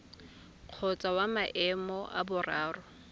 kgotsa wa maemo a boraro